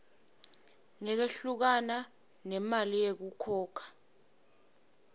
ngekwehlukana nemali yekukhokha